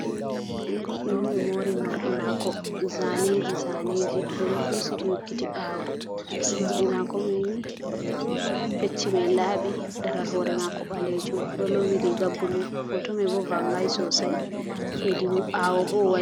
goddo on do mori mordi mako zaneji zaneji, odo husiti hokkiti bawo, mordi mako mai ni, pecchi mai labi daral hore mako balejum holowi riga bulu hoto mai bo vangai sosai hedi bawo bo